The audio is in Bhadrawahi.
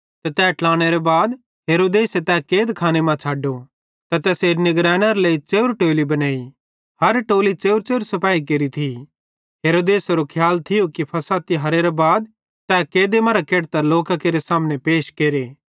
ते तैस ट्लानेरां बाद हेरोदेस तै कैदखाने मां छ़ड्डो ते तैसेरी निगरेंनारे लेइ च़ेव्रे टोली बनाई हर टोली च़ेव्रच़ेव्र सिपाही केरि थी हेरोदेसेरो खियाल थियो कि फ़सह तिहारेरे बाद तै कैदे मरां केढतां लोकां केरे सामने पैश केरे